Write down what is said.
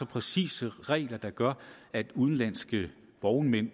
præcise regler der gør at udenlandske vognmænd